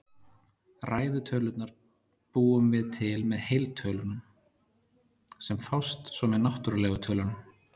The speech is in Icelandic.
Ræðu tölurnar búum við til með heiltölunum, sem fást svo með náttúrlegu tölunum.